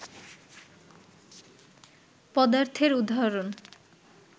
পদার্থের উদাহরণ